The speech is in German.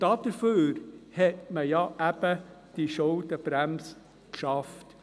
Dafür hat man eben die Schuldenbremse geschaffen.